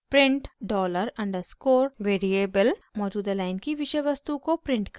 print dollar underscore $_ variable मौजूदा line की विषय वस्तु को प्रिंट करेगा